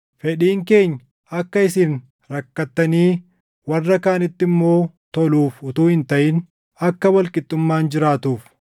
Fedhiin keenya akka isin rakkattanii warra kaanitti immoo toluuf utuu hin taʼin akka wal qixxummaan jiraatuuf.